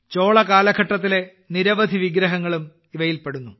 ചോള കാലഘട്ടത്തിലെ നിരവധി വിഗ്രഹങ്ങളും ഇവയിൽ ഉൾപ്പെടുന്നു